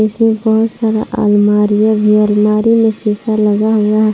इसमें बहोत सारा अलमारियां भी है अलमारी में सीसा लगा हुआ है।